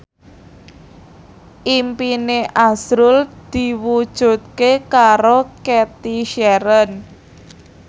impine azrul diwujudke karo Cathy Sharon